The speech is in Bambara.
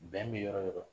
Bɛn bɛ yɔrɔ o yɔrɔ